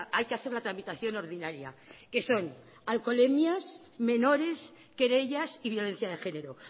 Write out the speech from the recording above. hay que hacer la tramitación ordinaria que son alcoholemias menores querellas y violencia de género